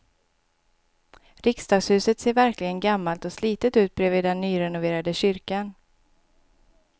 Riksdagshuset ser verkligen gammalt och slitet ut bredvid den nyrenoverade kyrkan.